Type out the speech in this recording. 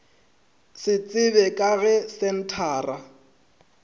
se tsebje ka ge senthara